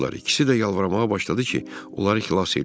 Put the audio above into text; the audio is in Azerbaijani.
İkisi də yalvarmağa başladı ki, onları xilas eləyim.